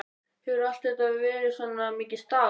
Hefurðu alltaf verið svona mikið stál?